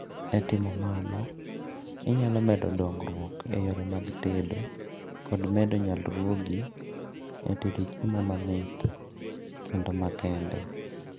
e timo mano, inyalo medo dongruok e yore mag tedo kod medo nyalruogi e tedo chiemo mamit kendo makende